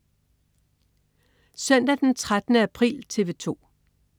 Søndag den 13. april - TV 2: